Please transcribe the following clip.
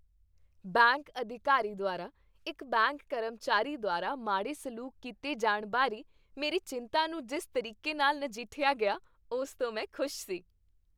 Bank ਅਧਿਕਾਰੀ ਦੁਆਰਾ ਇੱਕ ਬੈਂਕ ਕਰਮਚਾਰੀ ਦੁਆਰਾ ਮਾੜੇ ਸਲੂਕ ਕੀਤੇ ਜਾਣ ਬਾਰੇ ਮੇਰੀ ਚਿੰਤਾ ਨੂੰ ਜਿਸ ਤਰੀਕੇ ਨਾਲ ਨਜਿੱਠਿਆ ਗਿਆ ਉਸ ਤੋਂ ਮੈਂ ਖੁਸ਼ ਸੀ।